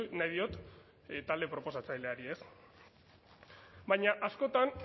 nahi diot talde proposatzaileari ez baina askotan